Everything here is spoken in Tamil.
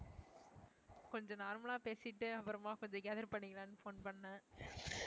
கொஞ்சம் normal லா பேசிட்டு அப்புறமா கொஞ்சம் gather பண்ணிக்கலாம்னு phone பண்ணேன்.